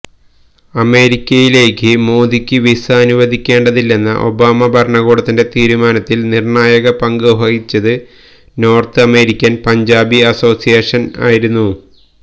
അമേരിക്കയിലേക്ക് മോഡിക്ക് വിസ അനുവദിക്കേണ്ടതില്ലെന്ന ഒബാമ ഭരണകൂടത്തിന്റെ തീരുമാനത്തില് നിര്ണായക പങ്ക് വഹിച്ചത് നോര്ത്ത് അമേരിക്കന് പഞ്ചാബി അസോസിയേഷന് ആയിരുന്നു